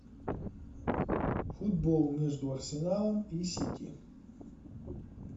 футбол между арсеналом и сити